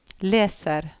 leser